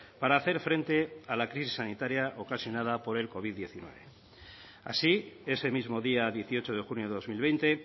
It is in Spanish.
para hacer frente a la crisis sanitaria ocasionada por el covid hemeretzi así ese mismo día dieciocho de junio de dos mil veinte